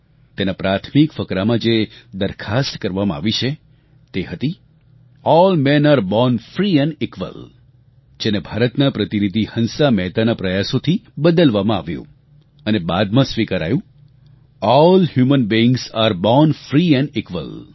તેના પ્રાથમિક ફકરામાં જે દરખાસ્ત કરવામાં આવી હતી તે હતી all men are born free and equal જેને ભારતના પ્રતિનિધિ હંસા મહેતાના પ્રયાસોથી બદલવામાં આવ્યું અને બાદમાં સ્વિકારાયું all human beings are born free and equal